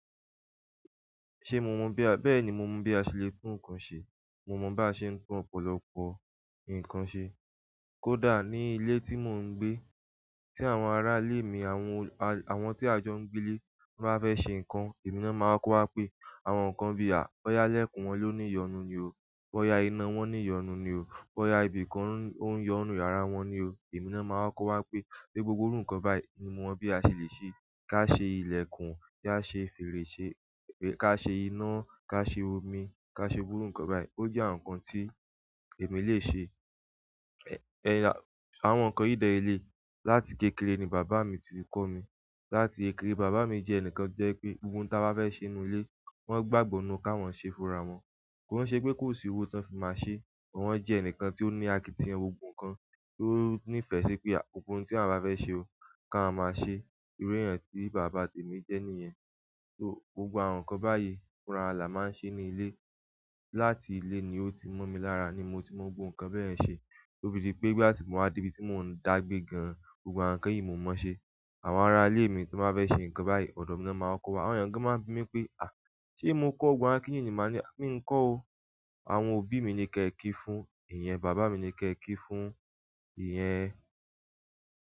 Ṣé mo mọ bí a, bẹ́ẹ̀ ni mo mọ̀ bí a ṣe lè tún nǹkan ṣe. Mo mọ bá ṣe ń tun ọ̀pọ̀lọpọ̀ nǹkan ṣe. Kódà ní ilé tí mò ń gbé, tí àwọn ará ilé mi àwọn, àwọn tí a jọ ń gbé nílé bá fẹ́ ṣe nǹkan, emi náà máa kọ́ wa pé, "àwọn nǹkan bí à, boya lẹ́kùn wọn ló ńi yọnu ni o. Fọ́ya iná wọ́n ń yọnu ni o. Boya ibìkan ò ń yọnu nínú yàrá wọn ni o." ẹ̀mí náà máa kọ́ko wa pé, "gbogbo irú nǹkan báyìí ni mo mọ̀ bí a ṣe lè ṣe. Ká ṣe ilẹ̀kùn, ká ṣe fèrèsé, ká ṣe iná, ká ṣe òmì, ká ṣe iru nǹkan báyìí." Ó jẹ́ àwọn nǹkan tí èmi lè ṣe. Ẹ̀, ẹ́, àwọn nǹkan yi de ni eleyi láti kékeré ni bàbá mi ti kọ́ mi. Láti kékeré, bàbá mi jẹ́ ẹnìkan to jẹ́ pé ohun táa bá fẹ́ ṣe nínú ilé, wọ́n gbàgbọ́ nínú kí awọ́n ṣe fúnra wọn. Kò ṣe pé kò sí owó tan fi máa ṣe, ṣùgbọ́n wọ́n jẹ́ ẹnìkan tí ó ní àkìtìyan gbogbo kan, tí ó nífẹ̀ẹ́ sí pé gbogbo ohun tí awọ́n bá fẹ́ ṣe o, kí àwọn máa ṣe. Iru eeyan ti baba temi je niyen. So gbogbo àwọn nǹkan báyìí fúnra wa la máa ń se ní ilé. Láti ilé ni ó ti mo mi lára ni mo ti mọ gbogbo nǹkan bẹ́yen ṣe. To fi di pé ìgbà ti mo wá dé ibi tí mò ń dàgbé gan-an, gbogbo àwọn nǹkan yìí mo mọ ṣe. Àwọn ará ilé mi tí wọ́n bá fẹ́ ṣe nǹkan báyìí, ọ̀dọ̀ mi náà máa kọ́ wa. Àwọn eeyan gan ma n bi mi pe a se mo ko gbogbo àwọn kinni yi ni, mi o ko oo. Àwọn òbí mi ni ké è kí fún, ìyẹn bàbá mi ni ké è kí fún, ìyẹn.